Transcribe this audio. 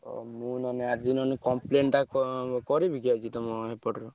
ଓ! ମୁଁ ମାନେ ଆଜି ନହେଲେ complain ଟା କଁ କରିବିକି ଆଜି ତମ ଏପଟରୁ?